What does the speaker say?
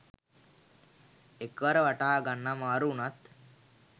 එකවර වටහාගන්න අමාරු වුනත්